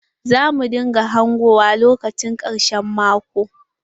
Za mu dinga hangowa lokacin ƙarshen maƙo.